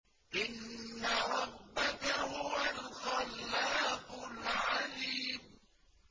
إِنَّ رَبَّكَ هُوَ الْخَلَّاقُ الْعَلِيمُ